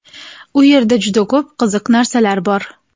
U yerda juda ko‘p qiziq narsalar bor.